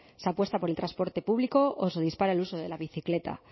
se apuesta por el transporte público o se dispara el uso de la bicicleta